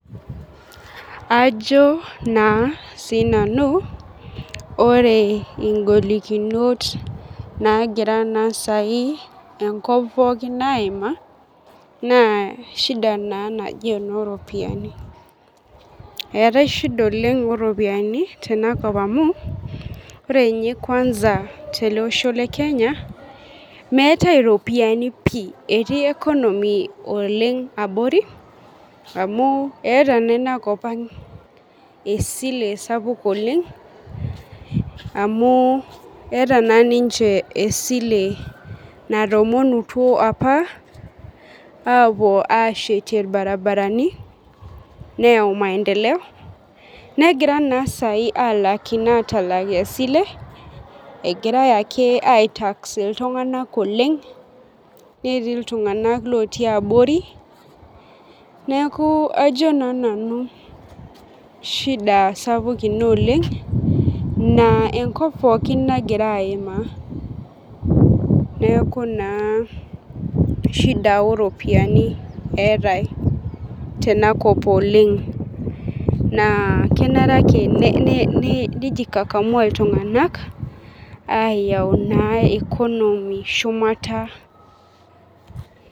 Ajo na sinanu ore Ing'olikinot nagira sai enkop pookin aimaa na shida na naji enooropiyiani, eetae shida naji enoropiyani ore nye kelwanza teleosho lekenya metai ropiyani pii etii economy abori amu eeta na inakop aang esile sapuk oleng amuu eeta na ninye esile natoomonutuo apa apuo ashetie irbaribarani neyau maendeleo negirai sai atalak isilen oleng netii ltunganak otii abori neaku ajo na nanu shida sapuk oleng na kajo enkop pookin nagira aimaa neaku naa shida oropiyiani eetae tenakop oleng nakenare ake peyau ltunganak economy shumata.